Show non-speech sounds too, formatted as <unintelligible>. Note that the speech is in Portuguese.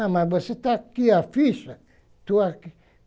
Ah, mas você está aqui a ficha. Estou <unintelligible>